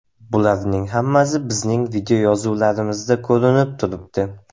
Bularning hammasi bizning videoyozuvlarimizda ko‘rinib turibdi.